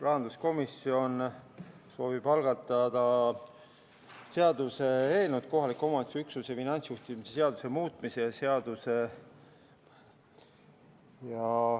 Rahanduskomisjon soovib algatada kohaliku omavalitsuse üksuse finantsjuhtimise seaduse muutmise seaduse eelnõu.